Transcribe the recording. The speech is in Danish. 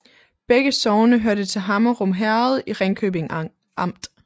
Begge sogne hørte til Hammerum Herred i Ringkøbing Amt